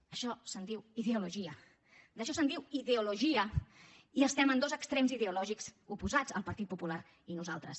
d’això se’n diu ideologia d’això se’n diu ideologia i estem en dos extrems ideològics oposats el partit popular i nosaltres